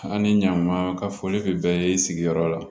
An ni ɲan ma ka fɔ bi bɛɛ ye sigiyɔrɔ la